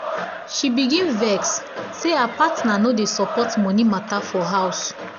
she begin vex say her partner no dey support money matter for house.